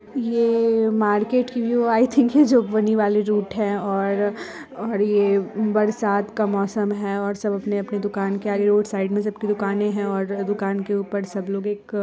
यह मैकेट की व्यू है आई थिंक रूट है और यह बरसात का मौसम है और सब अपनी अपनी दुकान के आगे रोड साइड में सबकी दुकाने हैं दुकान के ऊपर सब लोग एक --